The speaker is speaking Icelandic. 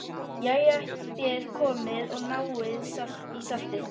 Jæja, þér komið og náið í saltið.